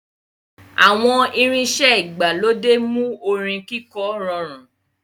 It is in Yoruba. Àwọn irinṣẹ́ ìgbàlódé mú orin kíkọ rọrùn.